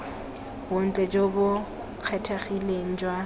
bontle jo bo kgethegileng jwa